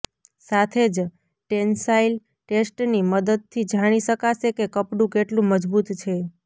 સાથે જ ટેન્સાઈલ ટેસ્ટની મદદથી જાણી શકાશે કે કપડું કેટલું મજબૂત છે